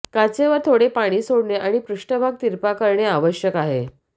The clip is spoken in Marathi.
काचेवर थोडे पाणी सोडणे आणि पृष्ठभाग तिरपा करणे आवश्यक आहे